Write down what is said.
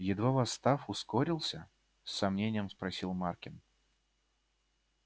едва восстав ускорился с сомнением спросил маркин